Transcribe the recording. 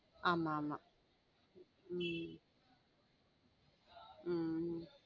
ஆமா ஆமா உம் உம் உம்